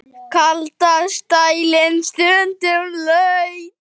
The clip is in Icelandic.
Kallast dældin stundum laut.